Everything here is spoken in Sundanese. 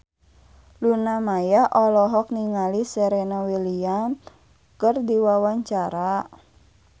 Luna Maya olohok ningali Serena Williams keur diwawancara